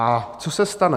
A co se stane?